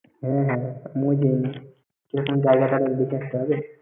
হ্যাঁ । চও জায়গাটা একবার দেখে আস্তে হবে।